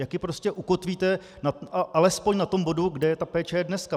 Jak ji prostě ukotvíte alespoň na tom bodu, kde ta péče je dneska.